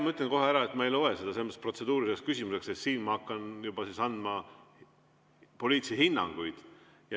Ma ütlen kohe ära, et ma ei loe seda protseduuriliseks küsimuseks, sest ma hakkaksin juba andma poliitilisi hinnanguid.